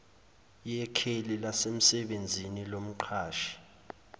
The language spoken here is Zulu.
yekheli lasemsebenzini lomqashi